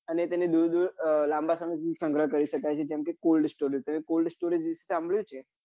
અને તેને દુર દુર લાંબા સમય સુધી સંગ્રહ કરી સકાય છે જેમ કે coldstorage તમે cold storage વિશે સાંભળ્યું છે?